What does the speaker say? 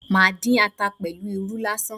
Màá dín ata pẹ̀lú irú lásán